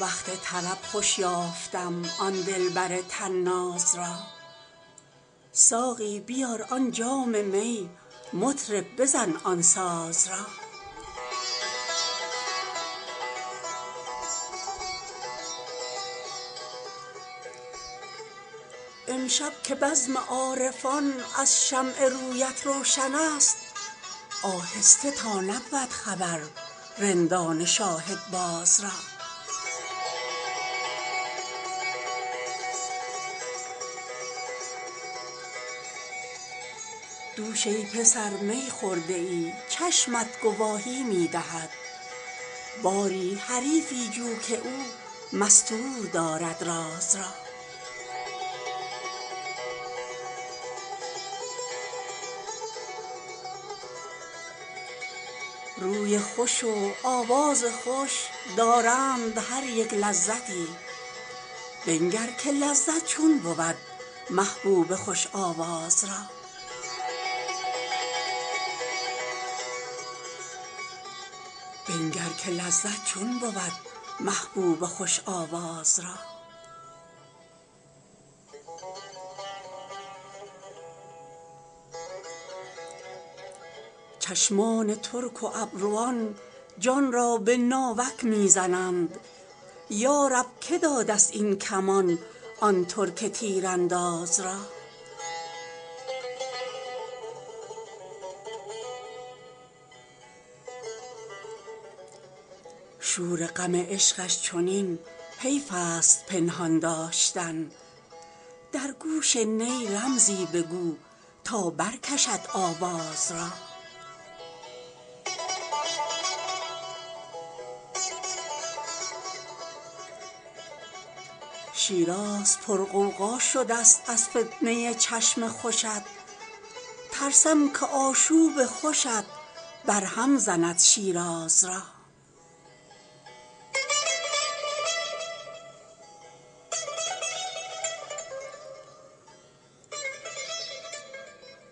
وقت طرب خوش یافتم آن دلبر طناز را ساقی بیار آن جام می مطرب بزن آن ساز را امشب که بزم عارفان از شمع رویت روشن است آهسته تا نبود خبر رندان شاهدباز را دوش ای پسر می خورده ای چشمت گواهی می دهد باری حریفی جو که او مستور دارد راز را روی خوش و آواز خوش دارند هر یک لذتی بنگر که لذت چون بود محبوب خوش آواز را چشمان ترک و ابروان جان را به ناوک می زنند یا رب که داده ست این کمان آن ترک تیرانداز را شور غم عشقش چنین حیف است پنهان داشتن در گوش نی رمزی بگو تا برکشد آواز را شیراز پرغوغا شده ست از فتنه ی چشم خوشت ترسم که آشوب خوشت برهم زند شیراز را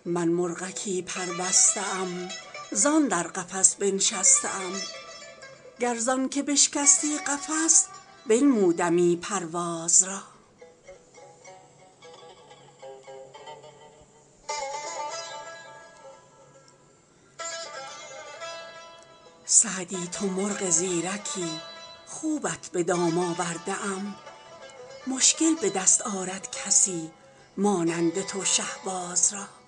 من مرغکی پربسته ام زان در قفس بنشسته ام گر زان که بشکستی قفس بنمودمی پرواز را سعدی تو مرغ زیرکی خوبت به دام آورده ام مشکل به دست آرد کسی مانند تو شهباز را